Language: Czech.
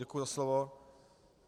Děkuji za slovo.